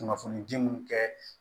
Kunnafonidi mun kɛ